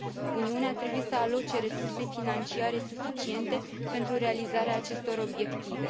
Uniunea trebuie să aloce resurse financiare suficiente pentru realizarea acestor obiective.